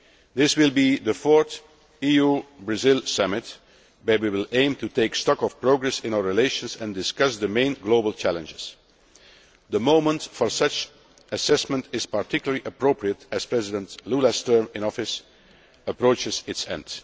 This will be the fourth EU Brazil Summit at which we will aim to take stock of progress in our relations and discuss the main global challenges. The moment for such an assessment is particularly appropriate as President Lula's term in office approaches its